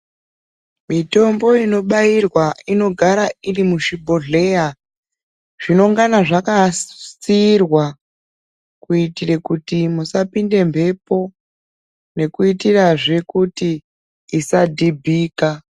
Mitombo ino bairwa inogara iri muzvibhodhleya zvinongana zvaka tsiirwa kuitire kuti musapinde mbepo nekuitirazve kuti isa dhibhika.